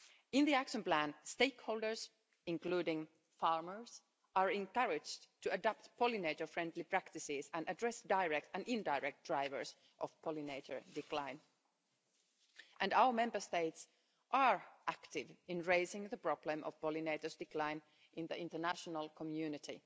In the action plan stakeholders, including farmers, are encouraged to adapt pollinator friendly practices and address direct and indirect drivers of pollinator decline. Our Member States are active in raising the problem of pollinators' decline in the international community.